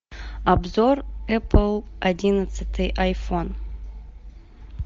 обзор эпл одиннадцатый айфон